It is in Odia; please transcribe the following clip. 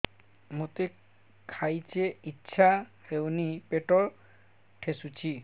ମୋତେ ଖାଇତେ ଇଚ୍ଛା ହଉନି ପେଟ ଠେସୁଛି